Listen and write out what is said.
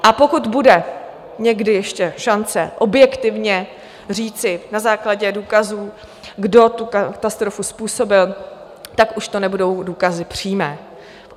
A pokud bude někdy ještě šance objektivně říci na základě důkazů, kdo tu katastrofu způsobil, tak už to nebudou důkazy přímé.